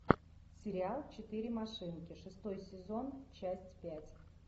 сериал четыре машинки шестой сезон часть пять